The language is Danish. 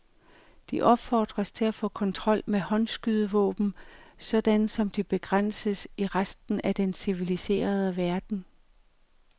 De opfordres til at få kontrol med håndskydevåben sådan som de begrænses i resten af den civiliserede verden.